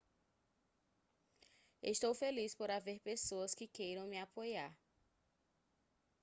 estou feliz por haver pessoas que queiram me apoiar